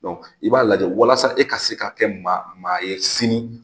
i b'a lajɛ walasa e ka se ka kɛ ma maa ye sini